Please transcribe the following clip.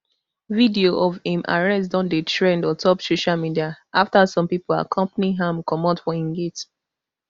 video of im arrest don dey trend ontop social media afta some pipo accompany am comot for im gate